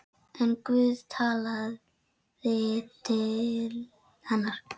En Guð talaði til hennar.